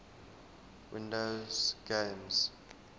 windows games